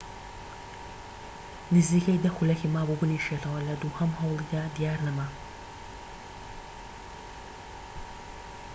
نزیکەی دە خولەکی مابوو بنیشێتەوە لە دووهەم هەوڵیدا دیار نەما